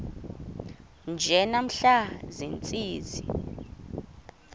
nje namhla ziintsizi